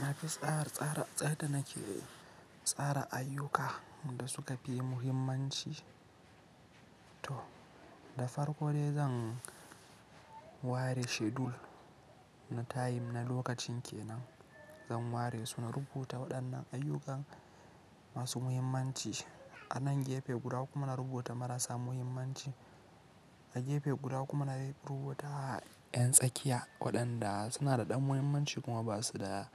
Na fi tsara, tsara, tsada nake tsara ayyuka da suka fi muhimmanci. To, da farko dai zan ware schedule na time na lokacin ke nan, zan ware su na rubuta waɗannan ayyukan masu muhimmanci a nan gefe guda kuma na rubuta marasa muhimmanci a gefe guda kuma na rubuta ƴan tsakiya waɗanda suna da ɗan muhimmanci kuma ba su da,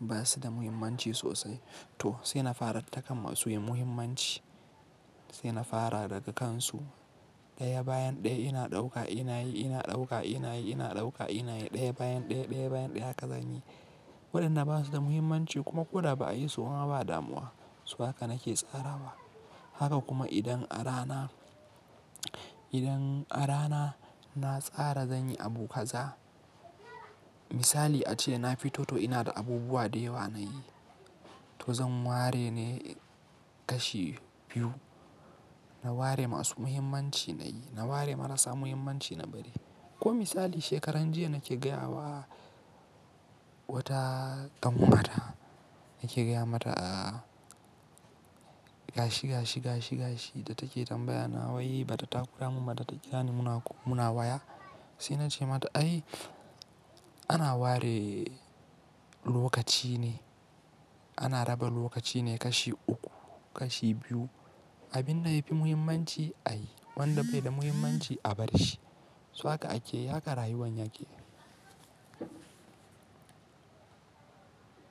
ba su da muhimmanci sosai. To sai na fara takan masu muhimmanci, sai na fara daga kansu ɗaya bayan ɗaya ina ɗauka ina yi, ina ɗauka ina yi, ina ɗauka ina yi ɗaya bayan ɗaya, ɗaya bayan ɗaya ka zanyi. Waɗanda ba su da muhimmanci kuma ko da ba a yi su kuma ba damuwa. So haka nake tsara ba. Haka kuma idan a rana, idan a rana na tsara zan yi abu kaza. Misali ace na fi toto ina da abubuwa da yawa na yi. To zan ware ne kashi biyu. Na ware masu muhimmanci na yi, na ware marasa muhimmanci na bari. Ko misali shekaran jiya nake gaya wa wata ƙanwata, nake gaya mata a gashi, gashi, gashi, gashi da take tambaya na wai bata ta kura mun bata ta kira ni muna, ko muna waya. Sai na ce mata ai ana ware lokaci ne, ana raba lokaci ne kashi uku, kashi biyu. Abin da yafi muhimmanci a yi, wanda bai da muhimmanci a bari shi. So haka ake, haka rayuwan yake.